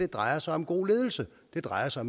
drejer sig om god ledelse og det drejer sig